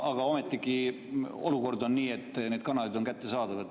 Aga ometigi, olukord on niisugune, et need kanalid on kättesaadavad.